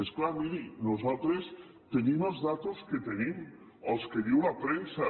és clar miri nosaltres tenim les dades que tenim les que diu la premsa